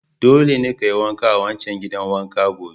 Dole ne kayi wanka a wancan gidan wanka gobe!